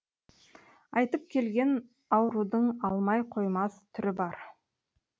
айтып келген аурудың алмай қоймас түрі бар